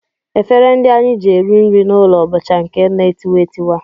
Efere ndị anyị ji eri nri n'ụlọ bụcha nke na-etiwa etiwa